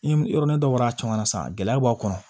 Ni yɔrɔ ni dɔw bɔra a caman na sisan gɛlɛya b'a kɔnɔ